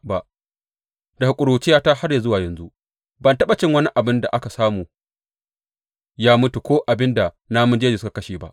Daga ƙuruciyata har zuwa yanzu ban taɓa cin wani abin da aka samu ya mutu ko abin da namun jeji suka kashe ba.